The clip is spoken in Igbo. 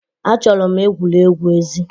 Achọrọ m egwuregwu ezi